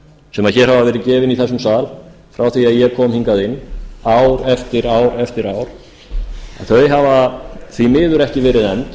sem hér hafa verið gefin í þessum sal frá því að ég kom hingað inn ár eftir ár eftir ár hafa því miður ekki verið efnd